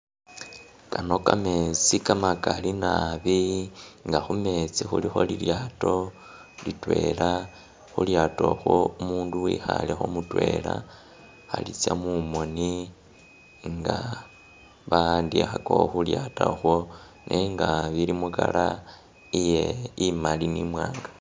Kano kametsi kamakali nabi nga khumetsi khulikho lilyaato litwela, khu lyaato okhwo umundu wikhalekho mutwela, Khali tsya mumoni nga ba'andikhakakho khu lyaato okhwo nenga bili mu colour iye imali ni'imwanga